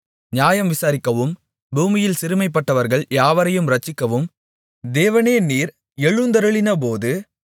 நியாயம் விசாரிக்கவும் பூமியில் சிறுமைப்பட்டவர்கள் யாவரையும் இரட்சிக்கவும் தேவனே நீர் எழுந்தருளினபோது